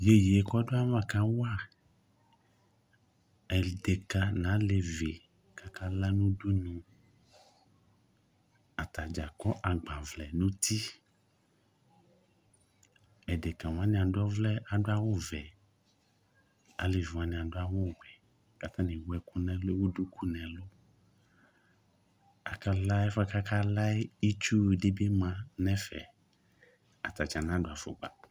Yeye kɔdu ava kawa edeka nu alevi kakala nu udunu atadza akɔ agbavlɛ nu uti edeka wani adu awu wuɛ kalevi wani adu awu vɛ akala efuɛ akala yɛ itsu wu dibi yanu ɛfɛ atata nadu afukpa